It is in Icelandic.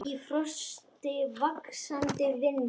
Í frosti, vaxandi vindi.